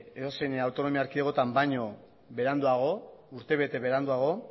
edozein autonomia erkidegoetan baino beranduago urtebete beranduago